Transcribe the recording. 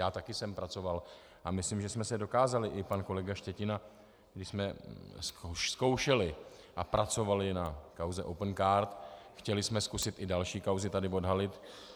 Já také jsem pracoval a myslím, že jsme se dokázali, i pan kolega Štětina, když jsme zkoušeli a pracovali na kauze Opencard, chtěli jsme zkusit i další kauzy tady odhalit.